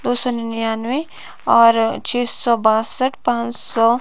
दो सौ निन्यानवे और छे सो बासठ पानसो--